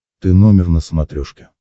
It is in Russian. ты номер на смотрешке